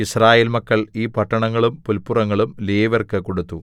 യിസ്രായേൽ മക്കൾ ഈ പട്ടണങ്ങളും പുല്പുറങ്ങളും ലേവ്യർക്ക് കൊടുത്തു